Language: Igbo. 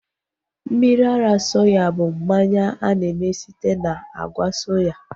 Mmiri ara soya bụ mmanya a na-eme site na àgwà soya